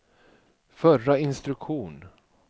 förra instruktion